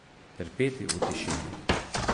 Trpeti v tišini.